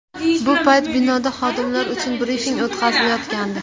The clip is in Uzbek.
Bu payt binoda xodimlar uchun brifing o‘tkazilayotgandi.